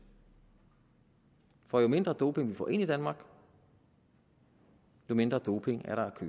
for jo mindre doping vi får ind i danmark jo mindre doping er der at